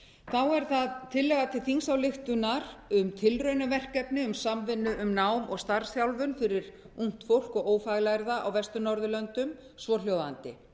þá er það tillaga til þingsályktunar um tilraunaverkefni um samvinnu um nám og starfsþjálfun fyrir ungt fólk og ófaglærða á vestur norðurlöndum svohljóðandi